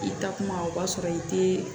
I takuma o b'a sɔrɔ i te